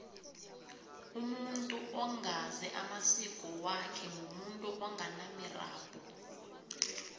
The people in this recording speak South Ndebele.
umuntu ongazi amasiko wakhe mumuntu onganamirabhu